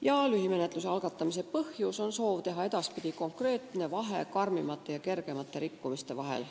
Lühimenetluse võimaluse algatamise põhjus on soov teha edaspidi konkreetne vahe raskemate ja kergemate rikkumiste vahel.